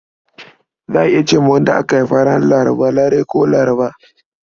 Za a iya ce wa wadda aka haifa ranar Laraba Larai ko Larba.